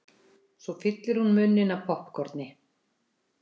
Svo fyllir hún munninn af poppkorni.